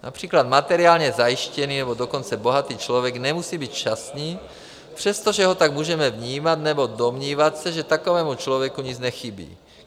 Například materiálně zajištěný, nebo dokonce bohatý člověk nemusí být šťastný, přestože ho tak můžeme vnímat nebo domnívat se, že takovému člověku nic nechybí.